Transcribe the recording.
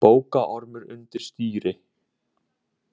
Bókaormur undir stýri